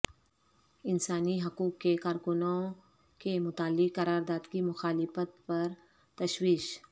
انسانی حقوق کے کارکنوں کے متعلق قرارداد کی مخالفت پر تشویش